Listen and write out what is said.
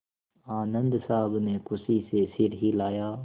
आनन्द साहब ने खुशी से सिर हिलाया